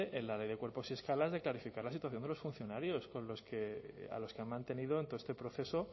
en la ley de cuerpos y escalas de clarificar la situación de los funcionarios a los que han mantenido en todo este proceso